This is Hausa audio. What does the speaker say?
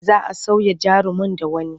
Za a sauya jarumin da wani.